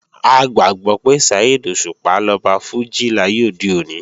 A gbàgbọ́ pé Saheed Òṣùpá lọba fújì láyé òde òní